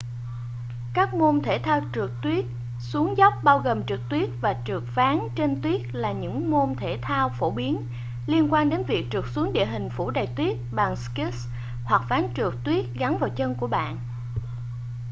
các môn thể thao trượt tuyết xuống dốc bao gồm trượt tuyết và trượt ván trên tuyết là những môn thể thao phổ biến liên quan đến việc trượt xuống địa hình phủ đầy tuyết bằng skis hoặc ván trượt tuyết gắn vào chân của bạn